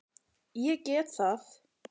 Ég get það.